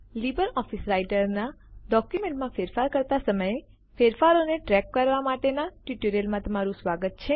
Libre office રાઈટરનાં document માં ફેરફાર કરતા સમયે ફેરફારો ને ટ્રેક કરવા માટેના ટ્યુટોરીયલમાં તમારું સ્વાગત છે